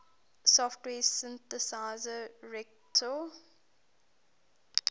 software synthesizer reaktor